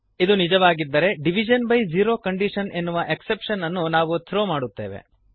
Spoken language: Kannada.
ಇದು ನಿಜವಾಗಿದ್ದರೆ ಡಿವಿಷನ್ ಬೈ ಜೆರೊ ಕಂಡೀಷನ್ ಎನ್ನುವ ಎಕ್ಸೆಪ್ಶನ್ ಅನ್ನು ನಾವು ಥ್ರೋ ಮಾಡುತ್ತೇವೆ